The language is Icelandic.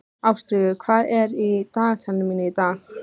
Ástríkur, hvað er í dagatalinu mínu í dag?